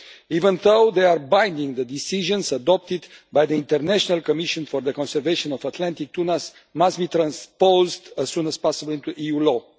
Even though they are binding, the decisions adopted by the International Commission for the Conservation of Atlantic Tunas must be transposed as soon as possible into EU law.